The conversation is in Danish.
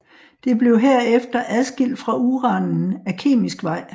Det blev herefter adskilt fra uranen ad kemisk vej